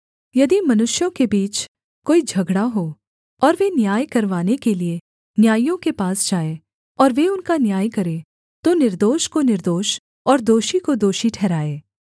यदि मनुष्यों के बीच कोई झगड़ा हो और वे न्याय करवाने के लिये न्यायियों के पास जाएँ और वे उनका न्याय करें तो निर्दोष को निर्दोष और दोषी को दोषी ठहराएँ